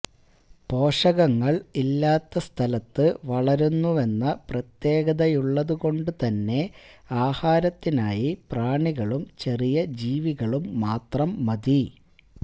പോഷകങ്ങള് ഇല്ലാത്ത സ്ഥലത്ത് വളരുന്നുവെന്ന പ്രത്യേകതയുള്ളതുകൊണ്ടുതന്നെ ആഹാരത്തിനായി പ്രാണികളും ചെറിയ ജീവികളും മാത്രം മതി